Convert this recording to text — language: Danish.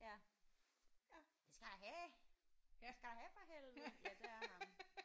Ja det skal jeg da have det skal jeg da have for helvede. Ja det er ham